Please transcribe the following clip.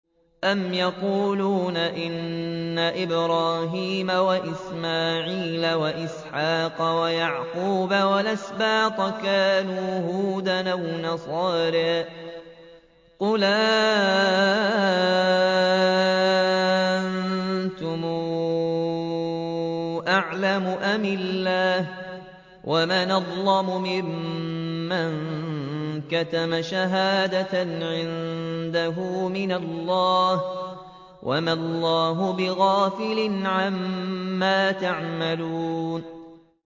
أَمْ تَقُولُونَ إِنَّ إِبْرَاهِيمَ وَإِسْمَاعِيلَ وَإِسْحَاقَ وَيَعْقُوبَ وَالْأَسْبَاطَ كَانُوا هُودًا أَوْ نَصَارَىٰ ۗ قُلْ أَأَنتُمْ أَعْلَمُ أَمِ اللَّهُ ۗ وَمَنْ أَظْلَمُ مِمَّن كَتَمَ شَهَادَةً عِندَهُ مِنَ اللَّهِ ۗ وَمَا اللَّهُ بِغَافِلٍ عَمَّا تَعْمَلُونَ